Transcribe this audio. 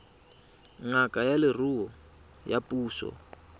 ngaka ya leruo ya puso